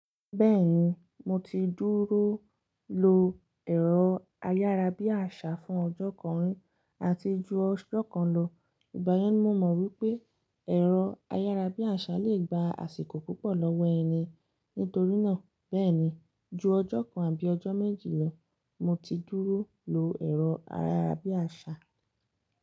Béèni mo ti dúró lò èrò ayárabíàṣá fún òjò kan rí àti jù òjò kan ló. Ìgbá yẹn ni mo mọ wípé ẹ̀rọ ayárabíàṣá lè gba àsìkò púpọ̀ lọ́wọ́ ẹni. Nítorí náà, béè ní jú òjò kan àbí òjò méjì lò, mó ti dúró ló èrò ayárabíàṣá.